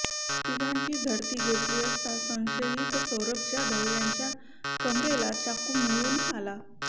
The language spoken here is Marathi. तिघांची झडती घेतली असता संशयित सौरभ जाधव यांच्या कमरेला चाकू मिळून आला